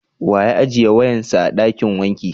Wa ya ajiye wayan sa a dakin wanka?